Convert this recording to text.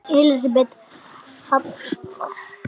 Elísabet Hall: Hvernig gekk?